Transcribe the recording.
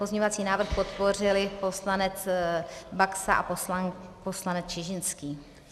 Pozměňovací návrh podpořili poslanec Baxa a poslanec Čižinský.